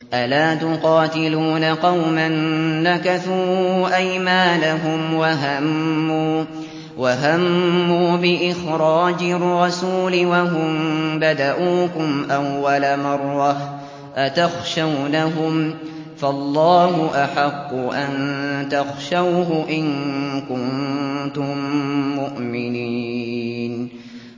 أَلَا تُقَاتِلُونَ قَوْمًا نَّكَثُوا أَيْمَانَهُمْ وَهَمُّوا بِإِخْرَاجِ الرَّسُولِ وَهُم بَدَءُوكُمْ أَوَّلَ مَرَّةٍ ۚ أَتَخْشَوْنَهُمْ ۚ فَاللَّهُ أَحَقُّ أَن تَخْشَوْهُ إِن كُنتُم مُّؤْمِنِينَ